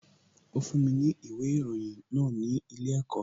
Ó fún mi ní ìwé ìròyìn náà ní ilé ẹ̀kọ́